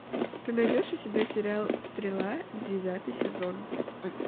ты найдешь у себя сериал стрела девятый сезон